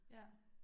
Ja